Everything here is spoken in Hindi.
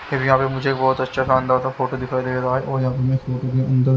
फिर यहाँ पे मुझे बहुत अच्छा सा अंदर सा फोटो दिखाई दे रहा है और यहाँ पे मैं फोटो के अंदर।